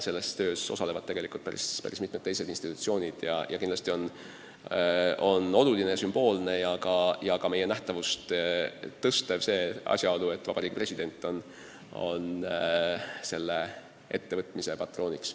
Selles töös osalevad tegelikult päris mitmed institutsioonid ja kindlasti on oluline, sümboolne ja ka meie nähtavust suurendav asjaolu, et Vabariigi President on selle ettevõtmise patrooniks.